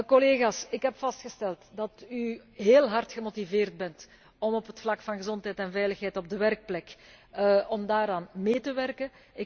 Collega's, ik heb vastgesteld dat u heel hard gemotiveerd bent om op het vlak van gezondheid en veiligheid op de werkplek mee te werken.